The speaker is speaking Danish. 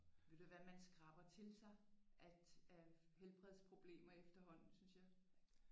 Ved du hvad man skraber til sig at af helbredsproblemer efterhånden synes jeg